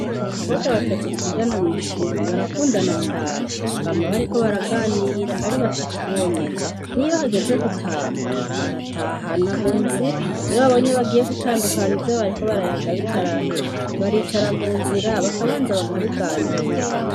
Abakobwa batatu twigana mw'ishuri barakundana cane bama bariko baraganira ari batatu bonyene n'iyo hageze gutaha baratahana mu nzira iyo babonye bagiye gutandukana ivyo abariko barayaga bitarahera baricara mu nzira bakabanza bakabiganira.